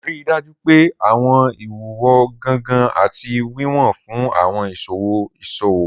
Rii daju pe awọn iwuwo gangan ati wiwọn fun awọn iṣowo iṣowo.